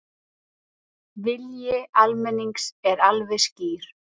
Vilji almennings er alveg skýr